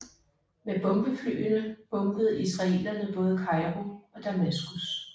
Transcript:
Med bombeflyene bombede israelerne både Kairo og Damaskus